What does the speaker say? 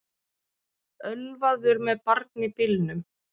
Ölvaður með barn í bílnum